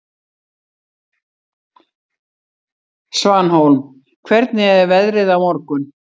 Svanhólm, hvernig er veðrið á morgun?